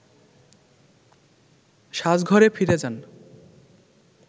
সাজঘরে ফিরে যান